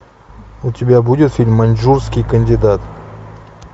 у тебя будет фильм маньчжурский кандидат